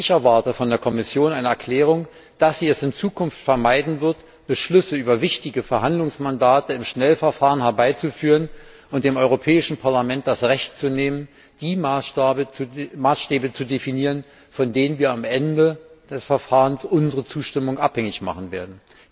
Ich erwarte von der Kommission eine Erklärung, dass sie es in Zukunft vermeiden wird, Beschlüsse über wichtige Verhandlungsmandate im Schnellverfahren herbeizuführen und dem Europäischen Parlament das Recht zu nehmen, die Maßstäbe zu definieren, von denen wir am Ende des Verfahrens unsere Zustimmung abhängig machen werden.